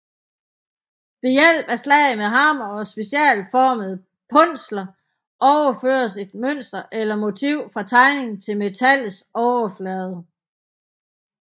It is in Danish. Ved hjælp af slag med hammer og specialformede punsler overføres et mønster eller motiv fra tegning til metallets overflade